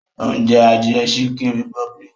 Ó ń jẹ adìẹ chicken republic